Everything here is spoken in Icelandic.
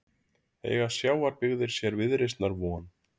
Eiga sjávarbyggðir sér viðreisnar von?